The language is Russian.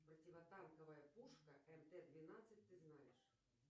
противотанковая пушка мт двенадцать ты знаешь